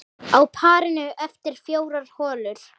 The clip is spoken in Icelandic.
Á parinu eftir fjórar holur.